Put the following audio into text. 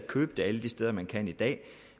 købe den alle de steder man kan i dag